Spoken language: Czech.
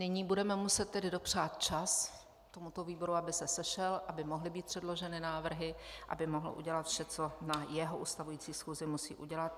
Nyní budeme muset tedy dopřát čas tomuto výboru, aby se sešel, aby mohly být předloženy návrhy, aby mohl udělat vše, co na své ustavující schůzi musí udělat.